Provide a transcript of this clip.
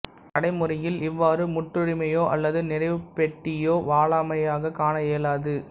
நடைமுறையில் இவ்வாறு முற்றுரிமையோ அல்லது நிறைவுப் பேட்டியோ வாலாயமாகக் காண இயலாது